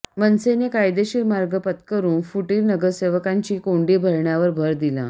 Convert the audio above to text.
मनसेने कायदेशीर मार्ग पत्करून फुटिर नगरसेवकांची कोंडी करण्यावर भर दिला